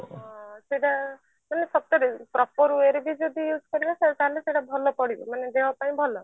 ହଁ ସେଟା ମାନେ ସତରେ proper way ରେ ବି ଯଦି use କରିବ ସେଟା ତାହେଲେ ସେଟା ଭଲ ପଡିବ ମାନେ ଦେହ ପାଇଁ ଭଲ